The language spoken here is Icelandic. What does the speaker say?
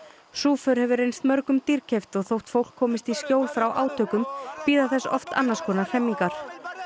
sú för hefur reynst mörgum dýrkeypt og þótt fólk komist í skjól frá átökum bíða þess oft annars konar hremmingar